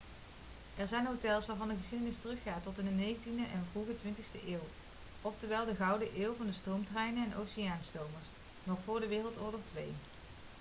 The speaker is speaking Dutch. er zijn hotels waarvan de geschiedenis teruggaat tot in de 19e en vroege 20ste eeuw oftewel de gouden eeuw van stoomtreinen en oceaanstomers nog voor de woii